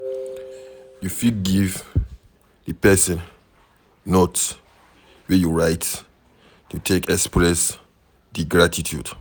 You fit give di person note wey you write to take express di gratitude